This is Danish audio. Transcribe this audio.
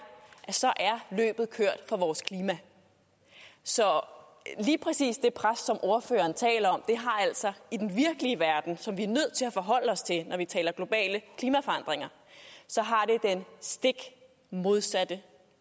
at så er løbet kørt for vores klima så lige præcis det pres som ordføreren taler om har altså i den virkelige verden som vi er nødt til at forholde os til når vi taler om globale klimaforandringer den stik modsatte